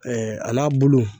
al'a bulu